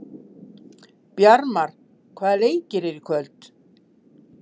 Bjarmar, hvaða leikir eru í kvöld?